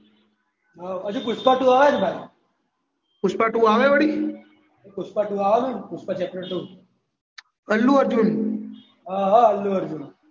હજુ પુષ્પા આવે છે ભાઈ પુષ્પા આવે વળી. પુષ્પા આવે ને પુષ્પા ચેપ્ટર આવે. અલ્લુ અર્જુન. હ અ અલ્લુ અર્જુન